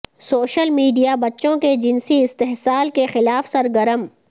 social media بچوں کے جنسی استحصال کے خلاف سرگرم